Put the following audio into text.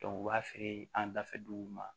u b'a feere an da fɛ duguw ma